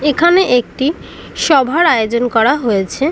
এখানে একটি সভার আয়োজন করা হয়েছে ।